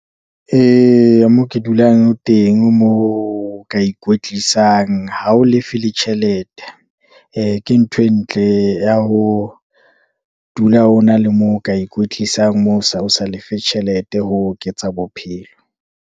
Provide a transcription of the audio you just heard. Mo ke dulang teng, moo o ka ikwetlisang ha o lefe le tjhelete, ke ntho e ntle ya ho dula o na le moo o ka ikwetlisang, moo o sa lefe tjhelete. Ho oketsa bophelo.